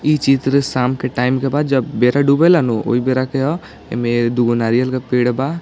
यह चित्र शाम का टाइम के बा जब बेरा डुबेला नु औइ बेरा के बा दुगो नारियल के पेड़ बा।